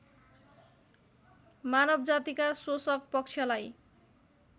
मानवजातिका शोषकपक्षलाई